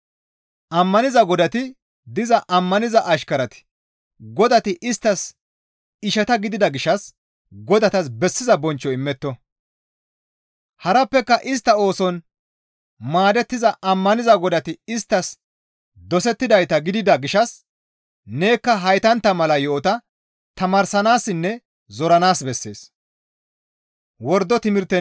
Ammaniza godati diza ammaniza ashkarati godati isttas ishata gidida gishshas godatas bessiza bonchcho immetto; harappeka istta ooson maadettiza ammaniza godati isttas dosettidayta gidida gishshas nekka haytantta mala yo7ota tamaarsanaassinne zoranaas bessees.